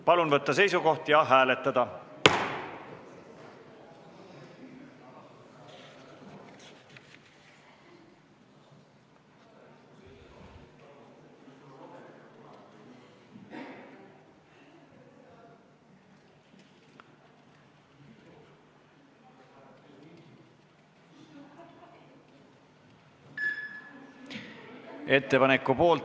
Palun võtta seisukoht ja hääletada!